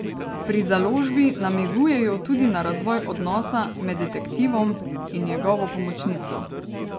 Pri založbi namigujejo tudi na razvoj odnosa med detektivom in njegovo pomočnico.